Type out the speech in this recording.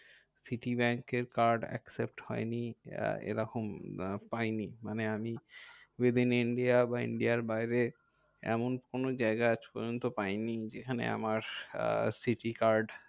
City ব্যাঙ্কের card accept হয়নি এরকম পাইনি। মানে আমি within India বা India বাইরে এমন কোনো জায়গা আজ পর্যন্ত পাইনি যেখানে আমার city card